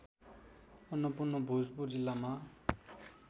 अन्नपूर्ण भोजपुर जिल्लामा